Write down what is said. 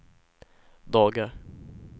dagar